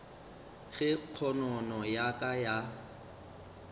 ge kgonono ya ka ya